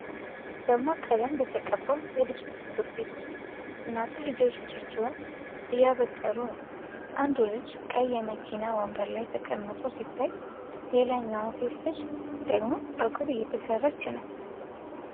በደማቅ ቀለም በተቀባ የልጆች ፀጉር ቤት ውስጥ እናቶች ልጆቻቸውን እያበጠሩ ነው። አንዱ ልጅ ቀይ የመኪና ወንበር ላይ ተቀምጦ ሲታይ፣ ሌላኛዋ ሴት ልጅ ደግሞ ፀጉር እየተሰራች ነው።